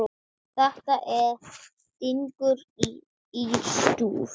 Þetta fyrir stingur í stúf.